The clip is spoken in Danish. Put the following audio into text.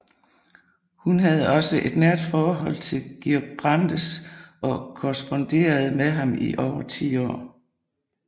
Hun havde også et nært forhold til Georg Brandes og korresponderede med ham i over 10 år